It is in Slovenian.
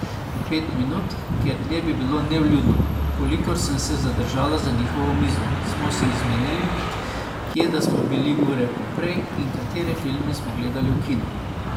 Pet minut, ker dlje bi bilo nevljudno, kolikor sem se zadržala za njihovo mizo, smo si izmenjali, kje da smo bili ure poprej in katere filme smo gledali v kinu.